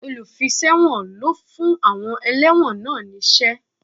Olùfiṣẹ̀wọ̀n ló fún àwọn ẹlẹ́wọ̀n náà ní iṣẹ́